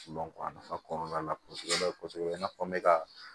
a nafa kɔrɔla la kɔsɛbɛ kɔsɛbɛ i n'a fɔ n be ka